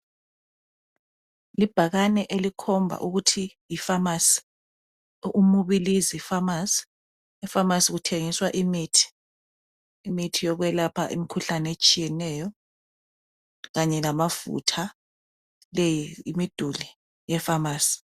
Libhakane elikhomba ukuthi yi famasi, Umubilizi pharmacy. Efamasi kuthengiswa imithi yokwelapha imikhuhlane etshiyeneyo kanye lamafutha. Leyi yimiduli ye famasi.